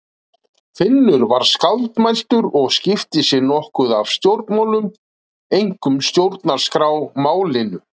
Finnur var skáldmæltur og skipti sér nokkuð af stjórnmálum, einkum stjórnarskrármálinu.